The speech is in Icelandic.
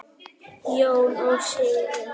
Jón og Sigrún.